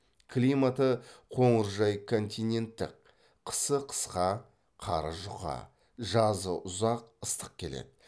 климаты қоңыржай континенттік қысы қысқа қары жұқа жазы ұзақ ыстық келеді